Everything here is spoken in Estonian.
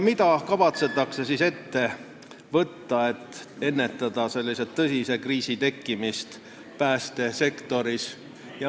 Mida kavatsetakse ette võtta, et ennetada tõsise kriisi tekkimist päästesektoris?